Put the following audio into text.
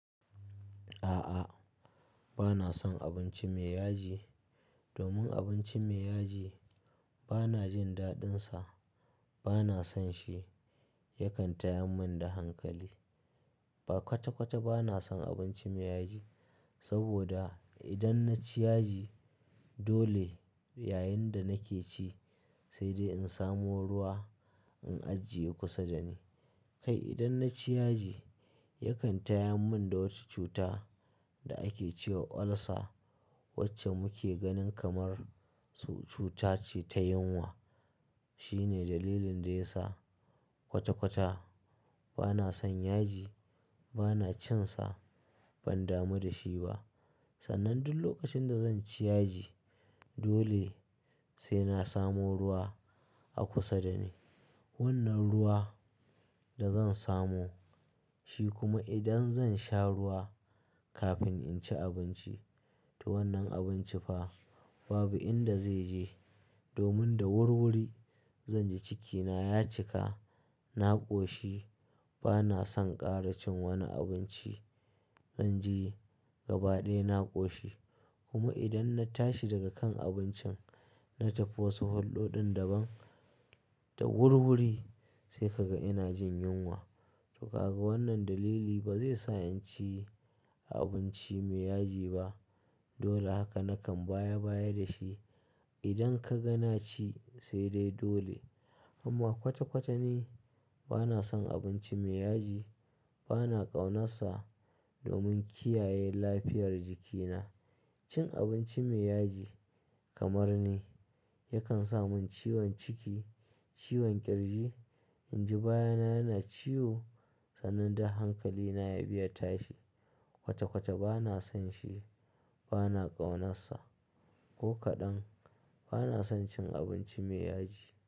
A'a, bana son abinci mai yaji domin abinci mai yaji bana jin daɗinsa. Bana son shi, yakan tayar mun da hankali. Ba kwata-kwata bana son abinci mai yaji sabida idan na ci yaji dole yayin da nake ci sai dai in samo ruwa in ajiye kusa da ni. Kai idan na ci yaji yakan tayar mun da wata cuta da ake ce wa ulcer wacce muke ganin kamar, su, cuta ce ta yunwa. Shine dalilin da yasa kwata-kwata bana son yaji, bana cin sa, ban damu da shi ba. Sannan duk lokacin da zan ci yaji dole sai na samo ruwa a kusa da ni. Wannan ruwa da zan samo, shi kuma idan zan sha ruwa kafin in ci abinci to wannan abinci fa babu inda zai je domin da wurwuri zanji cikina ya cika, na ƙoshi. Bana son ƙara cin wani abinci, zanji gaba ɗaya na ƙoshi. Kuma idan na tashi daga kan abincin, na tafi wasu hulɗo ɗin daban, da wurwuri sai kaga ina jin yunwa. To kaga wannan dalili ba zai sa in ci abinci mai yaji ba. Dole haka nakan baya-baya da shi. Idan kaga na ci, sai dai dole. Amma kwata-kwata ni bana son abinci mai yaji, bana ƙaunarsa domin kiyaye lafiyar jikina. Cin abinci mai yaji kamar ni yakan sa mun ciwon ciki, ciwon ƙirji. In ji baya na yana ciwo sannan duk hankalina yabi ya tashi. Kwata-kwata bana son shi, bana ƙaunarsa ko kaɗan. Bana son cin abinci mai yaji.